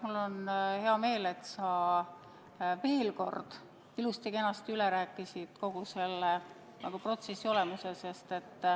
Mul on hea meel, et sa veel kord ilusti-kenasti üle rääkisid kogu selle protsessi olemuse.